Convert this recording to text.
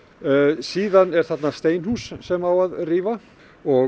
síðan er hérna steinhús sem á að rífa og